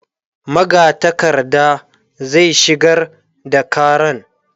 magatakarda zai shigar da karan